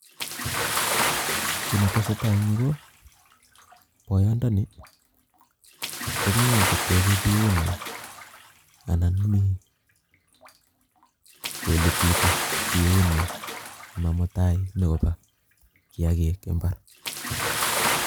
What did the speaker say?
Kiit neteseta en yuu ko boyondoni komii koteche biunyin anan mii kolititii biunyin simaa mutai nyokoba kiakik imbar.